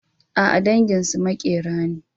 A'a, danginsu maƙera ne.